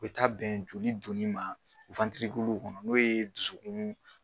Be taa bɛn joli donni ma kɔnɔ n'o ye dusukuun